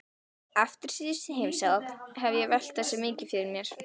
Eftir síðustu heimsókn hef ég velt þessu mikið fyrir mér.